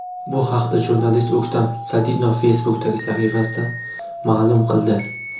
Bu haqda jurnalist O‘ktam Sadinov Facebook’dagi sahifasida ma’lum qildi .